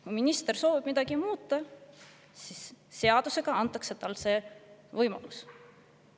Kui minister soovib midagi muuta, siis seadusega antakse talle selleks võimalus.